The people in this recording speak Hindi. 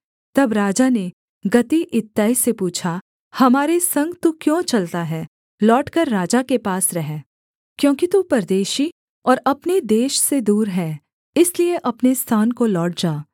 तब राजा ने गती इत्तै से पूछा हमारे संग तू क्यों चलता है लौटकर राजा के पास रह क्योंकि तू परदेशी और अपने देश से दूर है इसलिए अपने स्थान को लौट जा